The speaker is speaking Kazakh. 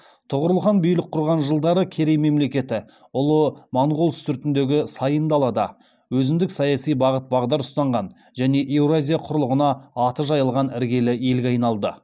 тұғырыл хан билік құрған жылдары керей мемлекеті ұлы монғол үстіртіндегі сайын далада өзіндің саяси бағыт бағдар ұстанған және еуразия құрлығына аты жайылған іргелі елге айналды